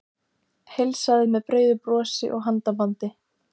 Heilsaði með breiðu brosi og handabandi.